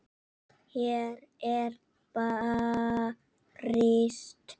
Hér er barist.